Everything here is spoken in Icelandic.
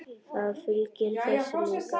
Það fylgir þessu líka.